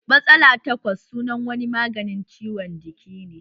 Matsala takwas sunan wani maganin ciwon jiki ne